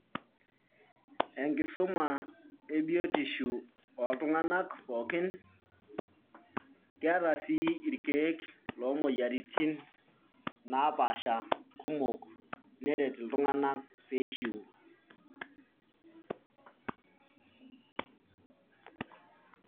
Enkisuma ebiotisho ooltung'anak pookin keeta sii irkiek loomoyiaritin naapaasha kumok neret iltunganak peishuu.